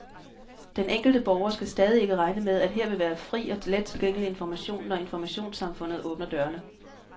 Den enkelte borger skal stadig ikke regne med, at her vil være fri og let tilgængelig information, når informationssamfundet åbner dørene.